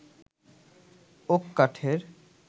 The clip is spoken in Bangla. ওক কাঠের